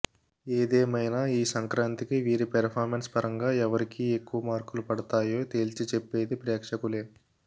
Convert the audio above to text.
ఏదేమైనా ఈ సంక్రాంతికి వీరి పెర్ఫార్మన్స్ పరంగా ఎవరికీ ఎక్కువ మార్కులు పడతాయో తేల్చి చెప్పేది ప్రేక్షుకులే